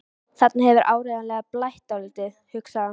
Þarna hefur áreiðanlega blætt dálítið, hugsaði hann.